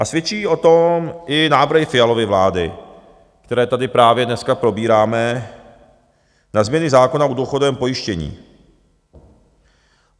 A svědčí o tom i návrhy Fialovy vlády, které tady právě dneska probíráme na změny zákona o důchodovém pojištění.